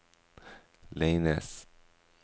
Leines